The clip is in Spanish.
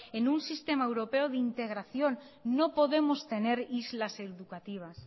en un sistema europeo de integración no podemos tener islas educativas